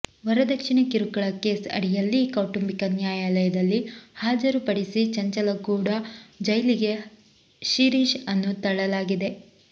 ವರದಕ್ಷಿಣೆ ಕಿರುಕುಳ ಕೇಸ್ ಅಡಿಯಲ್ಲಿ ಕೌಟುಂಬಿಕ ನ್ಯಾಯಾಲಯದಲ್ಲಿ ಹಾಜರು ಪಡಿಸಿ ಚಂಚಲಗೂಡಾ ಜೈಲಿಗೆ ಶಿರೀಶ್ ಅನ್ನು ತಳ್ಳಲಾಗಿದೆ